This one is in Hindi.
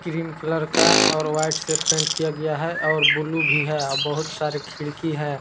क्रीम कलर का और व्हाइट से पेंट किया गया है और ब्लू भी है अब बहुत सारे खिड़की है।